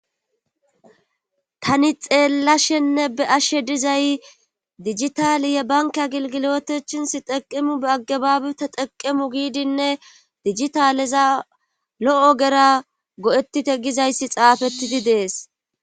tani xeellashenne be ashshe dizay dijitaaleye banka gilgilotechinsi xeqemu be agabaabita xeqemu giidinne dijitaleza lo7o gera go7ettite gizayssi xaafettidi dees